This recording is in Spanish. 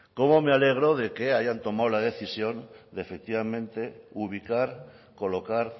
cómo me alegro de que hayan tomado la decisión de efectivamente ubicar colocar